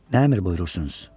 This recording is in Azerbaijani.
Nə əmr buyurursunuz?